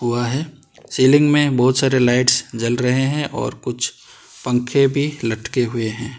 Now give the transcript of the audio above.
Ceiling में बहुत सारे लाइट्स जल रहे हैं और कुछ पंखे भी लटके हुए।